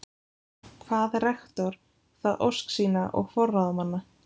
Kvað rektor það ósk sína og forráðamanna